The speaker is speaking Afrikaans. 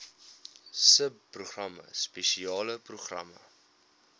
subprogramme spesiale programme